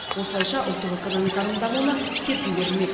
осылайша ұлттық экономиканың дамуына серпін берілмек